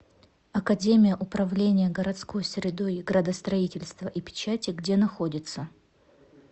академия управления городской средой градостроительства и печати где находится